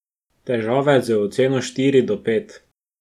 Težave z oceno štiri do pet.